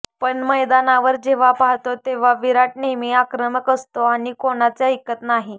पण मैदानावर जेव्हा पाहतो तेव्हा विराट नेहमी आक्रमक असतो आणि कोणाचे ऐकत नाही